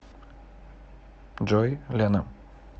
джой лена